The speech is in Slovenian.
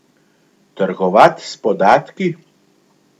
Trgovat s podatki?